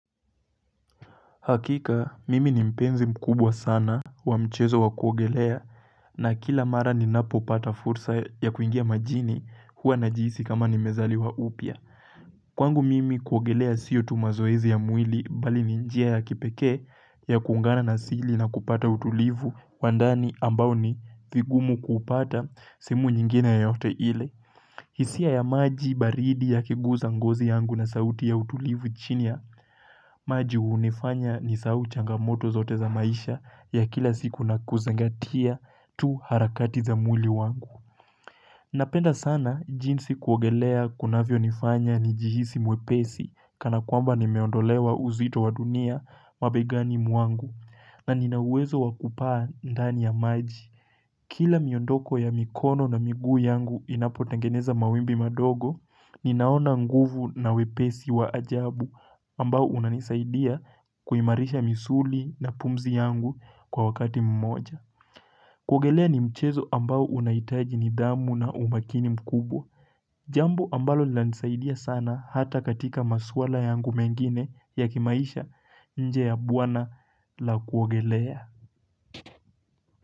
Hakika mimi ni mpenzi mkubwa sana wa mchezo wa kuogelea na kila mara ninapopata fursa ya kuingia majini huwa najihisi kama nimezaliwa upya Kwangu mimi kuogelea sio tu mazoezi ya mwili bali ni njia ya kipekee ya kuungana na asili na kupata utulivu wa ndani ambao ni vigumu kupata sehemu nyingine yoyote ile hisia ya maji baridi yakiguza ngozi yangu na sauti ya utulivu chini ya maji hunifanya nisahau changamoto zote za maisha ya kila siku na kuzingatia tu harakati za mwili wangu. Napenda sana jinsi kuogelea kunavyonifanya nijihisi mwepesi kana kwamba nimeondolewa uzito wa dunia mabegani mwangu na nina uwezo wa kupaa ndani ya maji. Kila miondoko ya mikono na miguu yangu inapotengeneza mawimbi madogo, ninaona nguvu na wepesi wa ajabu ambao unanisaidia kuimarisha misuli na pumzi yangu kwa wakati mmoja. Kuogelea ni mchezo ambao unahitaji nidhamu na umakini mkubwa. Jambo ambalo nilanisaidia sana hata katika maswala yangu mengine ya kimaisha nje ya bwawa la kuogelea.